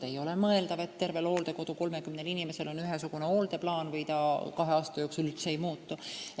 Ei ole mõeldav, et terve hooldekodu peale on näiteks kõigil 30 inimesel ühesugune hooldusplaan või et see kahe aasta jooksul üldse ei muutu.